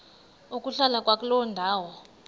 ukuhlala kwakuloo ndawo